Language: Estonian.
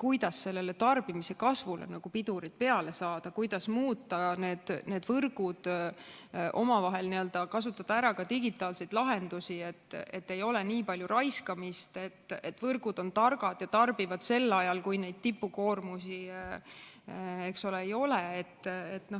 kuidas tarbimise kasvule pidurid peale saada, kuidas muuta neid võrke, kasutada ära ka digitaalseid lahendusi, et ei oleks nii palju raiskamist, et võrgud oleks targad ja tarbiks sel ajal, kui neid tippkoormusi ei ole.